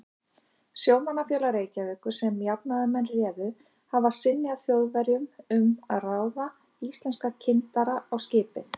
Sjómannafélag Reykjavíkur, sem jafnaðarmenn réðu, hafði synjað Þjóðverjum um að ráða íslenska kyndara á skipið.